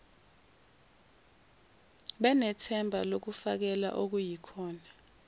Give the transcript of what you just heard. benethuba lokufakela okuyikhona